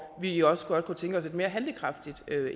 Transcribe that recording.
vi jo også godt kunne tænke os et mere handlekraftigt